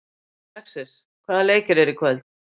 Alexis, hvaða leikir eru í kvöld?